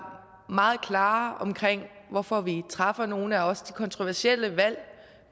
meget klare om hvorfor vi træffer nogle af de også kontroversielle valg